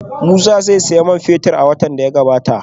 Musa zai sayi man fetir a wata mai zuwa